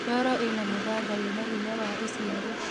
Ndoro ina mũthanga wina hinya wa ũciari